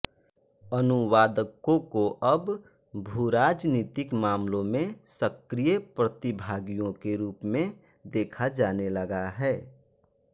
अनुवादकों को अब भूराजनीतिक मामलों में सक्रिय प्रतिभागियों के रूप में देखा जाने लगा है